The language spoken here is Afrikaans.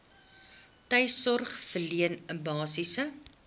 tuissorg verleen basiese